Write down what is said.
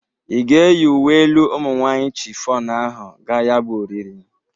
Ị ga-eyi uwe elu ụmụ nwaanyị chịfọnụ ahụ ga ya bụ oriri?